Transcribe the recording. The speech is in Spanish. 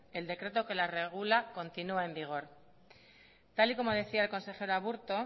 el decreto que las regula continúa en vigor tal y como decía el consejero aburto